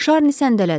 Şarni səndələdi.